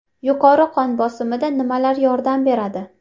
Yuqori qon bosimida nimalar yordam beradi?.